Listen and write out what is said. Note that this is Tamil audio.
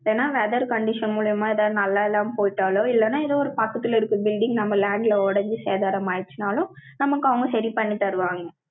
இல்லைன்னா, weather condition மூலியமா, எதாவது நல்லா இல்லாம போயிட்டாலோ, இல்லைன்னா, ஏதோ ஒரு பக்கத்துல இருக்கிற building, நம்ம land ல உடைஞ்சு, சேதாரம் ஆயிருச்சுன்னாலும், நமக்கு அவங்க, சரி பண்ணித் தருவாங்க